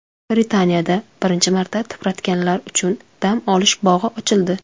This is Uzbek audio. Britaniyada birinchi marta tipratikanlar uchun dam olish bog‘i ochildi .